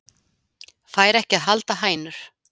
Fær ekki að halda hænur